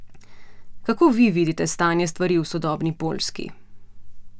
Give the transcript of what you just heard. Kako vi vidite stanje stvari v sodobni Poljski?